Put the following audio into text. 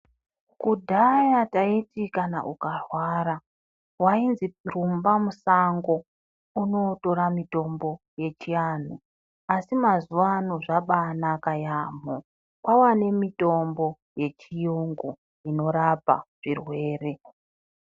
Kudhaya taiti kana ukarwara, wainzi rumba musango undootora mutombo yechiantu asi mazuva ano zvabaanaka yaamho, kwaane mitombo yechiyungu inorapa zvirwere.